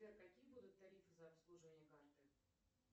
сбер какие будут тарифы за обслуживание карты